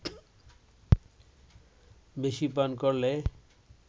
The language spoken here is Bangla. বেশি পান করলে